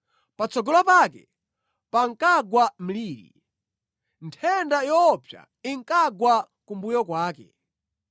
Patsogolo pake pankagwa mliri; nthenda yoopsa inkagwa kumbuyo kwake.